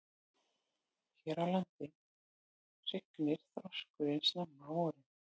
Hér á landi hrygnir þorskurinn snemma á vorin.